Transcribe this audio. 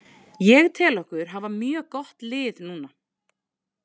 Ég tel okkur hafa mjög gott lið núna.